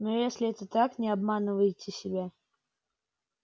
но если это так не обманывайте себя